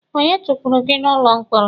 Onye tukpuru gị n'ụlọ mkpọrọ?